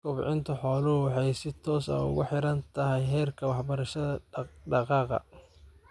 Kobcinta xooluhu waxa ay si toos ah ugu xidhan tahay heerka waxbarashada dhaq-dhaqaaqa.